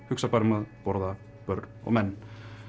hugsa bara um að borða börn og menn